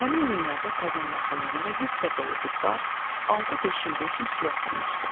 Həmin günlərdə Kazan yaxınlığında yüklə dolu bir barj altı deşildiyi üçün suya oturmuşdu.